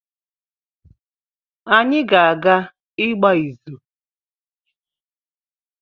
Anyị ga-aga ịgba ịzụ